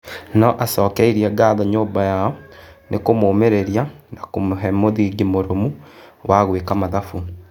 Nĩ acokeirie ngatho nyũmba yao ni kũmũmĩ rĩ ria na kũmũhe mũthingi mũrũmu wa gwĩ ka mathabu.